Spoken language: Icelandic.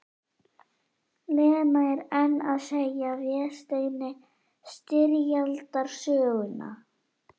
Lena er enn að segja Vésteini styrjaldarsöguna.